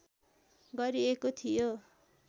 गरिएको थियो